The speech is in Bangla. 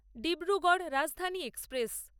ডিব্রুগড় রাজধানী এক্সপ্রেস